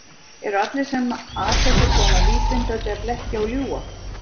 Eru allir sem að þessu koma vísvitandi að blekkja og ljúga?